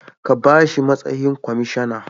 Ka bashi matsayin kwamishana